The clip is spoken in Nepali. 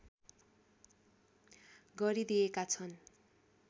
गरिदिएका छन्